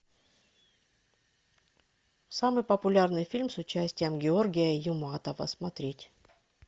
самый популярный фильм с участием георгия юматова смотреть